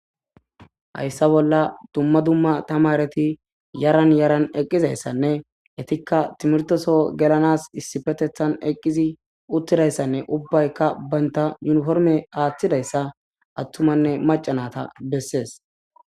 Hayssa bolla dumma dumma tamareti yaran yaran eqqizayssanne etikka timrtoso gelanas issifetethan eqqizi uttidayssanne ubbaykka baynta yuniforme aaththidayssa attumanne macanata bessees.